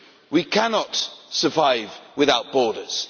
We cannot survive without borders.